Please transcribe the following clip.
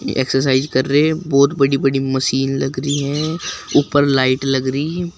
exercise कर रहे हैं बहोत बड़ी बड़ी मशीन लग रही है ऊपर लाइट लग रही --